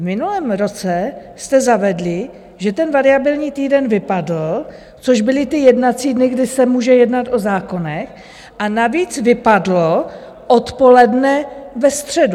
V minulém roce jste zavedli, že ten variabilní týden vypadl, což byly ty jednací dny, kdy se může jednat o zákonech, a navíc vypadlo odpoledne ve středu.